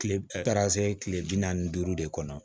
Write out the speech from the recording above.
Kile taara se kile bi naani ni duuru de kɔnɔ